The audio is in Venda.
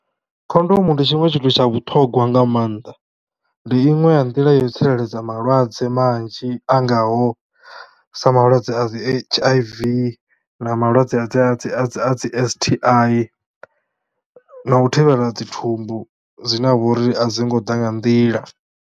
Khondomu ndi tshiṅwe tshithu tsha vhuṱhogwa nga maanḓa, ndi inwe ya ndila yo tsireledza malwadze manzhi a ngaho sa malwadze a dzi H_I_V na malwadze a dzi a dzi a dzi a dzi S_T_I na u thivhela dzi thumbu dzine ha uri a dzo ngo ḓa nga nḓila.